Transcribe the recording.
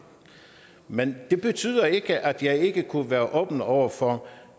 men det betyder ikke at jeg ikke kunne være åben over for